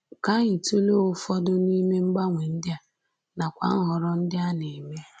Ka anyị tụlee ụfọdụ n’ime mgbanwe ndị a, nakwa nhọrọ ndị a na-eme